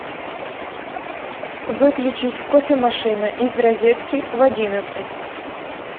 выключить кофемашина из розетки в одиннадцать